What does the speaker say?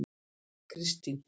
Kristin